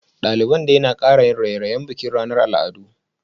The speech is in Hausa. Daliban dai na kara yin raye-rayen bikin ranar al'adu